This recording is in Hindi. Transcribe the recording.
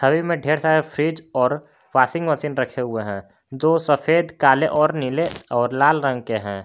छवि में ढ़ेर सारे फ्रिज और वाशिंग मशीन रखे हुए हैं जो सफेद काले और नीले और लाल रंग के हैं।